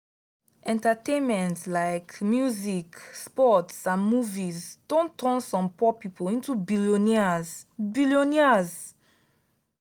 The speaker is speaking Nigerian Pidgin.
entertainment like music sports and movies don turn some poor people into billionaires. billionaires.